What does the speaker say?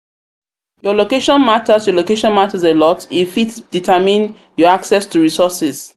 your location matters your location matters a lot e fit determine your access to resourses